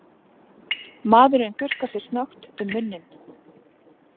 Maðurinn þurrkar sér snöggt um munninn.